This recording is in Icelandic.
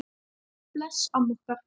Bless amma okkar.